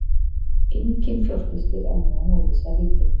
Enginn fjárfestir á meðan óvissa ríkir